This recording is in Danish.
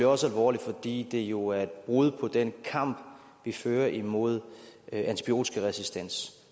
også alvorligt fordi det jo er et brud på den kamp vi fører imod antibiotikaresistens